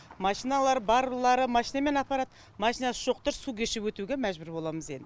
машиналары барлары машинамен апарады машинасы жоқтары су кешіп өтуге мәжбүр боламыз енді